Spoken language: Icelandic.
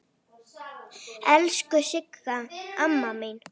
Elsku Sigga amma mín.